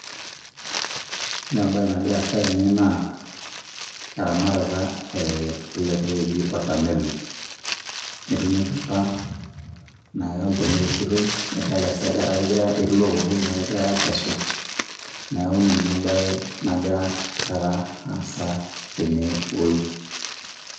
Ore ebae naagira aasa tene naa eramatata ele toki oji watermelon . Etuunoki apa neaku olchani eoshitoi nadolita si ajo eeh etii looto egirae aakesu neaku ninye ebae nagira taata aasa tene woi.